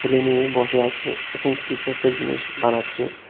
ছেলে মেয়ে বসে আছে এবং কিছু একটা জিনিস বানাচ্ছে।